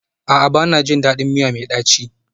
A'a, ba na jin daɗin miya mai ɗaci